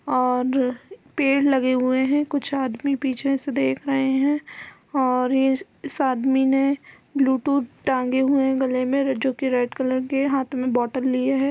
और पेड़ लगे हुए है कुछ आदमी पीछे से देख रहे है और ये इस आदमी ने ब्लूथूज टाँगे हुए है गले में जो की रेड कलर के हाथ में बोटल लिए है।